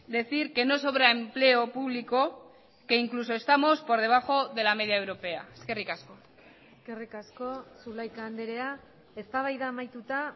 decir que no sobra empleo público que incluso estamos por debajo de la media europea eskerrik asko eskerrik asko zulaika andrea eztabaida amaituta